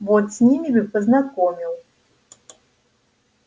вот с ними бы познакомил